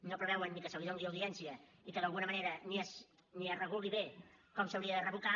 no preveuen ni que se li doni audiència i que d’alguna manera ni es reguli bé com s’hauria de revocar